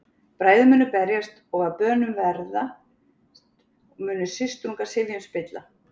Bræður munu berjast og að bönum verðast, munu systrungar sifjum spilla.